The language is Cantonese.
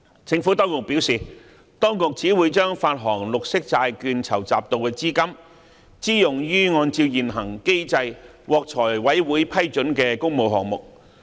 政府當局表示，當局只會把發行綠色債券籌集到的資金支用於按照現行機制獲財務委員會批准的工務項目。